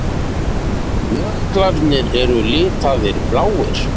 Jöklarnir eru litaðir bláir.